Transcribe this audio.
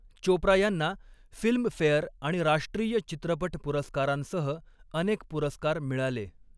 चोप्रा यांना फिल्मफेअर आणि राष्ट्रीय चित्रपट पुरस्कारांसह अनेक पुरस्कार मिळाले.